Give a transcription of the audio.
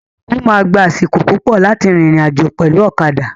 O ma gbà àsìkò púpọ láti rìnrìn àjò pẹlu ọ̀kadà.